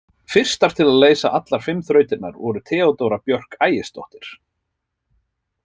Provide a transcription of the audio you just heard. Fyrstar til að leysa allar fimm þrautirnar voru Theodóra Björk Ægisdóttir.